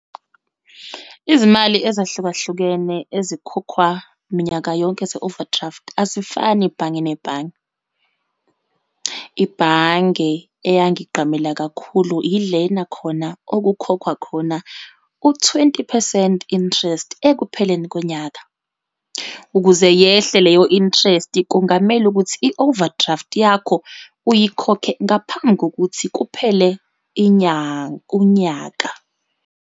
Izimali ezahlukahlukene ezikhokhwa minyaka yonke ze-overdraft, azifani ibhange nebhange. Ibhange eyangigqamela kakhulu, yilena khona okukhokhwa khona u-twenty percent interest ekupheleni konyaka. Ukuze yehle leyo interest, kungamele ukuthi i-overdraft yakho uyikhokhe ngaphambi kokuthi kuphele unyaka.